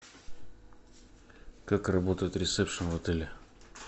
как работает ресепшн в отеле